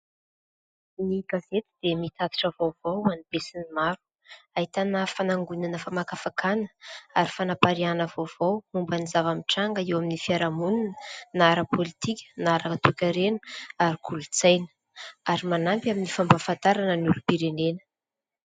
Ny gazety dia mitatitra vaovao ho an'ny be sy ny maro, ahitana fanangonana famakafakana ary fanapariahina vaovao momba ny zava-mitranga eo amin'ny fiaraha-monina na ara-pôlitika na ara-toe-karena ary kolontsaina, ary manampy amin'ny fampahafantarana ny olom-pirenena.